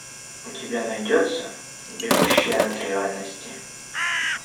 у тебя найдется бегущая от реальности